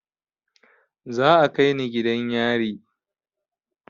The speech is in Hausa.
Za a kai ni gidan yari